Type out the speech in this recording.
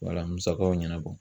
Wala musakaw ɲɛnabɔ